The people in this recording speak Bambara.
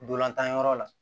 Dolantan yɔrɔ la